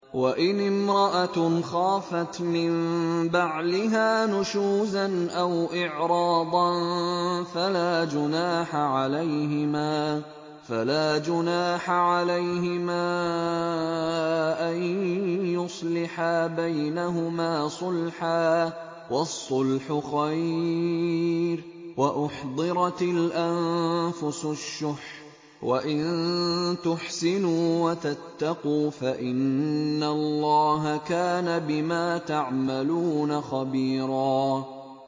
وَإِنِ امْرَأَةٌ خَافَتْ مِن بَعْلِهَا نُشُوزًا أَوْ إِعْرَاضًا فَلَا جُنَاحَ عَلَيْهِمَا أَن يُصْلِحَا بَيْنَهُمَا صُلْحًا ۚ وَالصُّلْحُ خَيْرٌ ۗ وَأُحْضِرَتِ الْأَنفُسُ الشُّحَّ ۚ وَإِن تُحْسِنُوا وَتَتَّقُوا فَإِنَّ اللَّهَ كَانَ بِمَا تَعْمَلُونَ خَبِيرًا